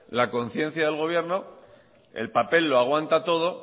la conciencia del gobierno el papel lo aguanta todo